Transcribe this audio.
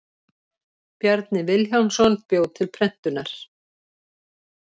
Bjarni Vilhjálmsson bjó til prentunar.